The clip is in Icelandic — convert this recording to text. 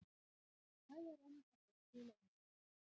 Mig klæjar enn að fá að spila á Englandi.